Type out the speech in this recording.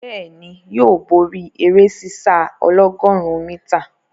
Bẹ́ẹ̀ni, yóò bóri eré sísá ọlọ́gọ̀rún mítà.